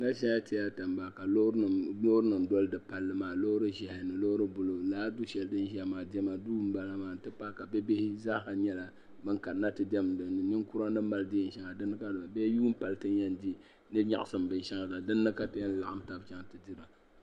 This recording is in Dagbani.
Bipuɣinsi n laɣim dɛmda bi puuni so n zaya ka yɛ liiga sabinli ka bi puuni so gba yɛla liiga piɛlli ka so jinjam sabinli bi puuni yaha so lana yɛ liiga ʒee ka bia pahi bi puuni.